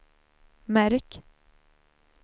märk